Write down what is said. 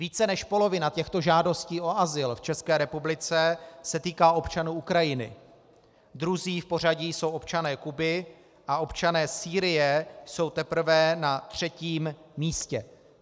Více než polovina těchto žádostí o azyl v České republice se týká občanů Ukrajiny, druzí v pořadí jsou občané Kuby a občané Sýrie jsou teprve na třetím místě.